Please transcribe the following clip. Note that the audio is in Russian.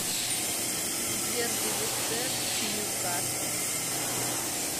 дерби лестер с ньюкаслом